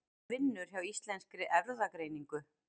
Hún vinnur hjá Íslenskri erfðagreiningu.